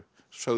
sögð